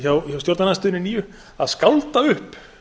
hjá stjórnarandstöðunni nýju að skálda upp